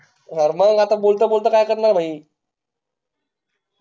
अरे मग आता काय करणार ए